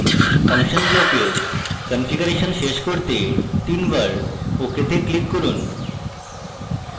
function ব্লকের configuration শেষ করতে তিনবার ok তে ক্লিক করুন